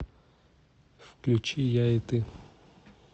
включи я и ты